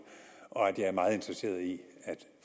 og at jeg er meget interesseret i at